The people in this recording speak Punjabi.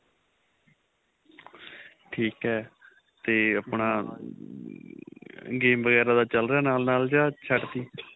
ਠੀਕ ਏ ਤੇ ਆਪਣਾ game ਵਗੇਰਾ ਦਾ ਚੱਲ ਰਿਹਾ ਨਾਲ ਨਾਲ ਜਾਂ ਛੱਡ ਤੀ